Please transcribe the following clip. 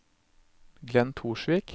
Glenn Torsvik